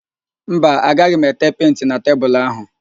Mba, agaghị m ete penti na tebulu áhụ̀